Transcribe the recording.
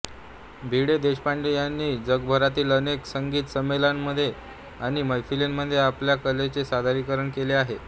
भिडेदेशपांडे यांनी जगभरातील अनेक संगीत संमेलनांमध्ये आणि मैफिलींमध्ये आपल्या कलेचे सादरीकरण केले आहे